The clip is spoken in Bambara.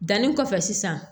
Danni kɔfɛ sisan